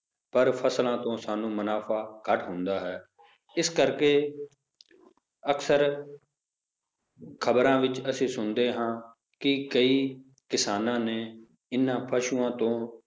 ਪਰ ਫਸਲਾਂ ਤੋਂ ਸਾਨੂੰ ਮੁਨਾਫ਼ਾ ਘੱਟ ਹੁੰਦਾ ਹੈ ਇਸ ਕਰਕੇ ਅਕਸਰ ਖ਼ਬਰਾਂ ਵਿੱਚ ਅਸੀਂ ਸੁਣਦੇ ਹਾਂ ਕਿ ਕਈ ਕਿਸਾਨਾਂ ਨੇ ਇਹਨਾਂ ਪਸੂਆਂ ਤੋਂ